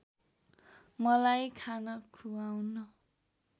मलाई खाना खुवाउन